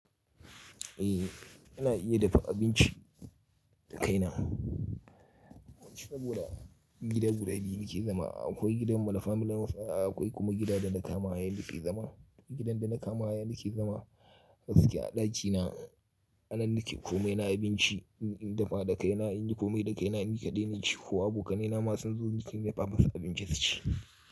Eh, ina iya dafa abinci da kaina. Gida guda biyu nike zama. Akwai gidanmu na family of, akwai kuma gidan da na kama haya nake zama. Gidan da na kama haya nake zama, gaskiya a ɗakina anan ni ke. Kome na abinci in dafa da kaina, in yi kome da kaina ni kaɗai naci ko abokanaina ma sunzo ni ke dafa masu abincin su ci.